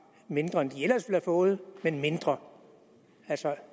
mindre end de ellers ville have fået men mindre altså